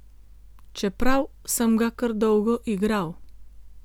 Čeprav sem ga kar dolgo igral.